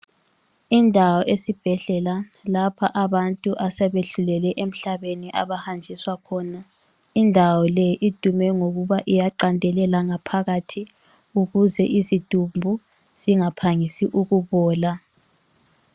Indawo esibhedlela lapha abantu asebehluleke emhlabeni abahanjiswa khona, indawo le idume ngokuba iyaqandelela ngaphakathi ukuze izidumbu zingaphangisi ukubola.